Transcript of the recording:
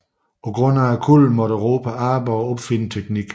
På grund af kulden måtte Europa arbejde og opfinde teknik